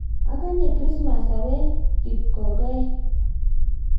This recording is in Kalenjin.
akanye krismas awe kipkokoe